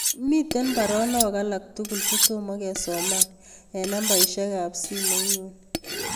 Miten baronok alak tugul chetomo kesoman en nambaisyek ab simoinyun